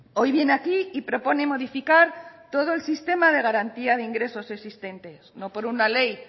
hoy viene aquí y propone modificar todo el sistema de garantía de ingreso existentes no por una ley